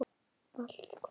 Allt hvað?